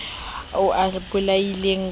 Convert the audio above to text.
ao a a bolaileng ka